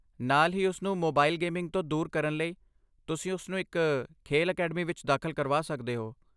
ਨਾਲ ਹੀ, ਉਸਨੂੰ ਮੋਬਾਈਲ ਗੇਮਿੰਗ ਤੋਂ ਦੂਰ ਕਰਨ ਲਈ, ਤੁਸੀਂ ਉਸਨੂੰ ਇੱਕ ਖੇਡ ਅਕੈਡਮੀ ਵਿੱਚ ਦਾਖਲ ਕਰਵਾ ਸਕਦੇ ਹੋ।